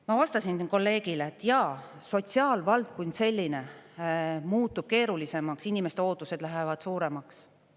Ma vastasin teie kolleegile, et jaa, sotsiaalvaldkond kui selline muutub keerulisemaks, inimeste ootused lähevad suuremaks.